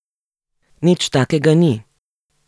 Nič takega ni.